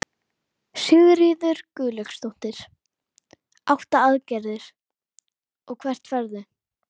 Guðmundur Björn með sér út ganga.